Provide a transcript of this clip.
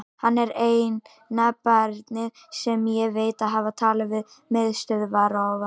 Hann er eina barnið sem ég veit að hafi talað við miðstöðvarofna.